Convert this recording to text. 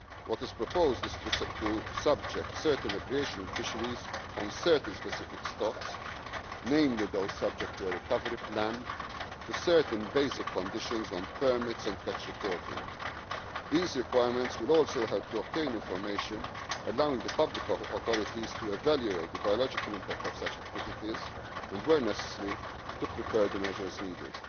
industry. What is proposed is to subject certain recreational fisheries on certain specific stocks, namely those subject to a recovery plan, to certain basic conditions on permits and catch reporting. These requirements will also help to obtain information allowing the public authorities to evaluate the biological impact of such activities and, where necessary, to prepare the measures